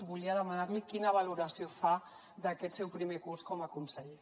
volia demanar li quina valoració fa d’aquest seu primer curs com a conseller